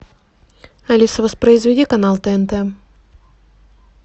алиса воспроизведи канал тнт